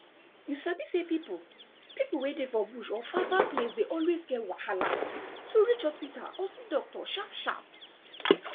you sabi say people people wey dey for bush or farfar place dey always get wahala to reach hospital or see doctor sharpsharp